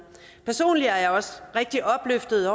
personligt er jeg også rigtig opløftet